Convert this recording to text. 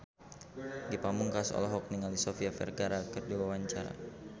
Ge Pamungkas olohok ningali Sofia Vergara keur diwawancara